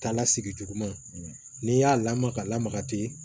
Taala sigi juguman n'i y'a lamaga ka lamaga ten